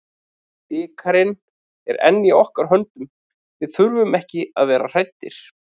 Bikarinn er enn í okkar höndum, við þurfum ekki að vera hræddir.